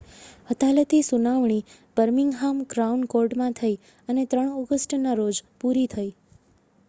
અદાલતી સુનાવણી Birmingham crown કૉર્ટમાં થઈ અને 3 ઑગસ્ટના રોજ પૂરી થઈ